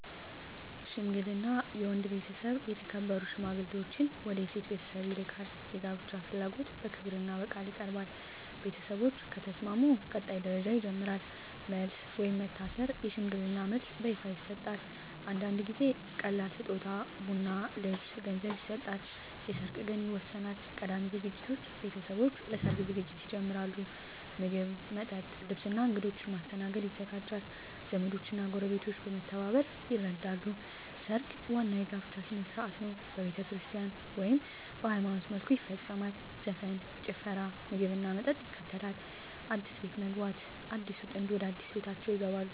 ሽምግልና የወንድ ቤተሰብ የተከበሩ ሽማግሌዎችን ወደ የሴት ቤተሰብ ይልካል። የጋብቻ ፍላጎት በክብርና በቃል ይቀርባል። ቤተሰቦች ከተስማሙ ቀጣይ ደረጃ ይጀምራል። መልስ (ወይም መታሰር) የሽምግልና መልስ በይፋ ይሰጣል። አንዳንድ ጊዜ ቀላል ስጦታ (ቡና፣ ልብስ፣ ገንዘብ) ይሰጣል። የሰርግ ቀን ይወሰናል። ቀዳሚ ዝግጅት ቤተሰቦች ለሰርግ ዝግጅት ይጀምራሉ። ምግብ፣ መጠጥ፣ ልብስ እና እንግዶች ማስተናገድ ይዘጋጃል። ዘመዶች እና ጎረቤቶች በመተባበር ይረዳሉ። ሰርግ ዋናው የጋብቻ ሥነ ሥርዓት ነው። በቤተክርስቲያን (ወይም በሃይማኖታዊ መልኩ) ይፈጸማል። ዘፈን፣ ጭፈራ፣ ምግብና መጠጥ ይከተላል። አዲስ ቤት መግባት (ከሰርግ በኋላ) አዲሱ ጥንድ ወደ አዲስ ቤታቸው ይገባሉ።